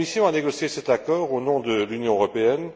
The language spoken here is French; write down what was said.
La Commission a négocié cet accord au nom de l'Union européenne.